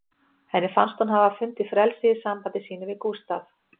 Henni fannst hún hafa fundið frelsið í sambandi sínu við Gústaf